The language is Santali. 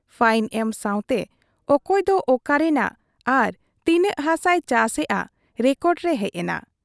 ᱯᱷᱟᱭᱤᱱ ᱮᱢ ᱥᱟᱶᱛᱮ ᱚᱠᱚᱭ ᱫᱚ ᱚᱠᱟ ᱨᱮᱱᱟᱜ ᱟᱨ ᱛᱤᱱᱟᱹᱜ ᱦᱟᱥᱟᱭ ᱪᱟᱥᱮᱜ ᱟ , ᱨᱮᱠᱚᱰᱨᱮ ᱦᱮᱡ ᱮᱱᱟ ᱾